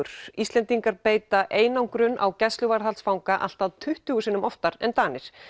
Íslendingar beita einangrun á gæsluvarðhaldsfanga allt að tuttugu sinnum oftar en Danir